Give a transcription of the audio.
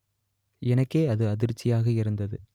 எனக்கே அது அதிர்ச்சியாக இருந்தது